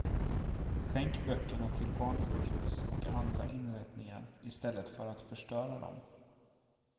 Skänk böckerna till barnsjukhus och andra inrättningar i stället för att förstöra dom.